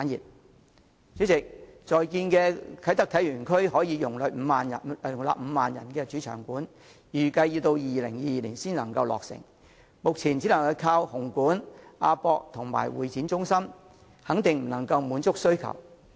代理主席，正在興建的啟德體育園區可容納5萬人的主場館，預計要到2022年才落成，目前只能依靠紅磡體育館、亞洲國際博覽館及香港會議展覽中心，肯定不能滿足需求。